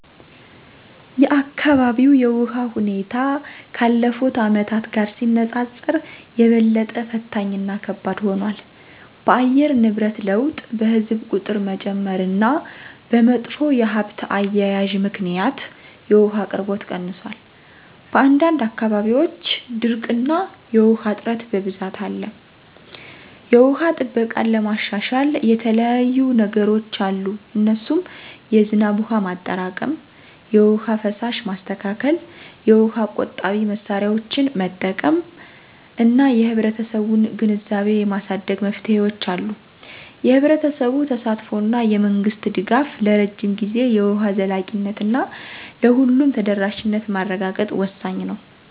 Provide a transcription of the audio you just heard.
የአካባቢው የውሃ ሁኔታ ካለፉት አመታት ጋር ሲነጻጸር የበለጠ ፈታኝ እና ከባድ ሆኗል። በአየር ንብረት ለውጥ፣ በሕዝብ ቁጥር መጨመር እና በመጥፎ የሀብት አያያዝ ምክንያት የውሃ አቅርቦት ቀንሷል። በአንዳንድ አካባቢዎች ድርቅ እና የውሃ እጥረት በብዛት አለ። የውሃ ጥበቃን ለማሻሻል የተለያዩየ ነገሮች አሉ እነሱም የዝናብ ውሃ ማጠራቀም፣ የውሃ ፍሳሽ ማስተካከል፣ የውሃ ቆጣቢ መሳሪያዎችን መጠቀም እና የህብረተሰቡን ግንዛቤ የማሳደግ መፍትሄዎች አሉ። የህብረተሰቡ ተሳትፎ እና የመንግስት ድጋፍ ለረጅም ጊዜ የውሃ ዘላቂነት እና ለሁሉም ተደራሽነት ማረጋገጥ ወሳኝ ነው